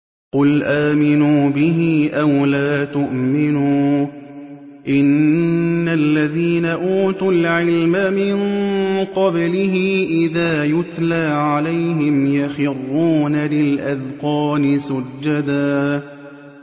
قُلْ آمِنُوا بِهِ أَوْ لَا تُؤْمِنُوا ۚ إِنَّ الَّذِينَ أُوتُوا الْعِلْمَ مِن قَبْلِهِ إِذَا يُتْلَىٰ عَلَيْهِمْ يَخِرُّونَ لِلْأَذْقَانِ سُجَّدًا